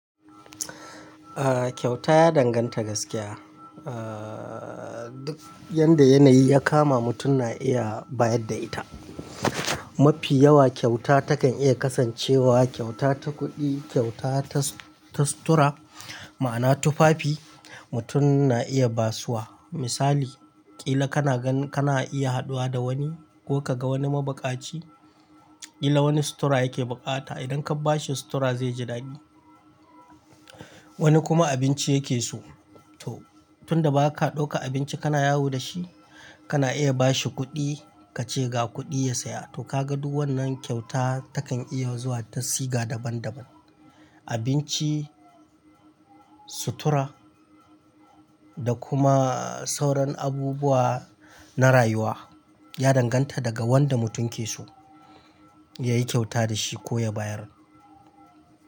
Kyauta ya danganta gaskiya duk yanda yanayi ya kama mutum na iya bayar da ita. Mafi yawa kyauta takan iya kasancewa kyauta ta kuɗi, kyautata ta sutura, ma'ana tufafi mutum na iya basuwa. Misali, ƙila kana ganin kana iya haɗuwa da wani ko ka ga wani mabuƙaci, ƙila wani sutura yake buƙata. Idan ka bashi sutura zai ji daɗi. Wani kuma abinci yake so. To tun da ba ka ɗauka abinci kana yawo da shi, kana iya bashi kuɗi kace ga kuɗi ya saya. To ka ga duk wannan kyauta takan iya zuwa ta siga daban daban. Abinci, sutura da kuma sauran abubuwa na rayuwa. Ya danganta daga wanda mutum ke so yayi kyauta da shi ko ya bayar.